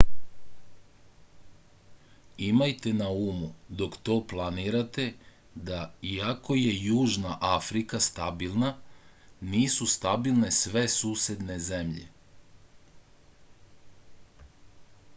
imajte na umu dok to planirate da iako je južna afrika stabilna nisu stabilne sve susedne zemlje